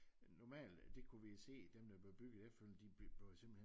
Normalt det kunne vi se dem der blev bygget efterfølgende de blev jo simpelthen